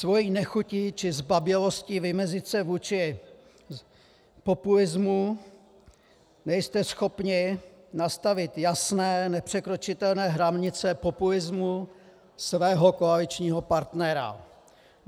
Svou nechutí či zbabělostí vymezit se vůči populismu nejste schopni nastavit jasné nepřekročitelné hranice populismu svého koaličního partnera.